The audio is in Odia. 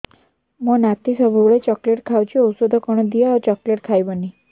ମୋ ନାତି ସବୁବେଳେ ଚକଲେଟ ଖାଉଛି ଔଷଧ କଣ ଦିଅ ଆଉ ଚକଲେଟ ଖାଇବନି